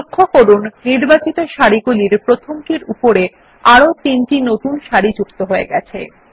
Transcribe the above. লক্ষ্য করুন নির্বাচিত সারিগুলির প্রথমটির উপরে চারটি নতুন সারি যুক্ত হয়েছে